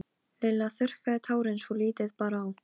Ég vil ræða við Guð í hjarta mínu.